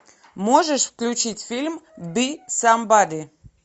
можешь включить фильм би самбади